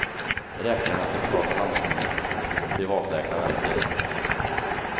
Räkningarna ska betalas av landstingen, vilket privatläkarna vänt sig emot.